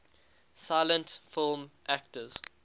silent film actors